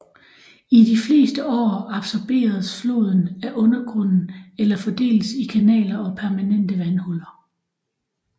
I de fleste år absorberes floden af undergrunden eller fordeles i kanaler og permanente vandhuller